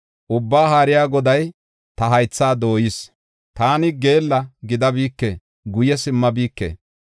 Ubbaa Haariya Goday ta haythaa dooyis; taani geella gidabike; guye simmabike.